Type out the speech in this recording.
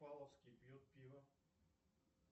павловский пьет пиво